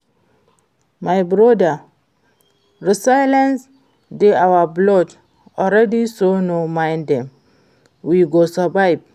My broda resilience dey our blood already so no mind dem, we go survive